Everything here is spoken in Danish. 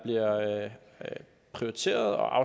jeg er nødt til at